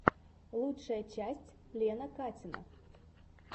лучшая часть лена катина